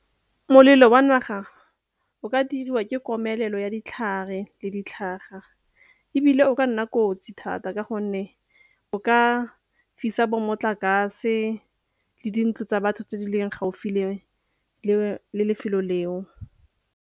Molelo wa naga o ka diriwa ke komelelo ya ditlhare le ditlhaga, ebile o ka nna kotsi thata ka gonne o ka fisa bo motlakase le dintlo tsa batho tse di leng gaufi le lefelo leo.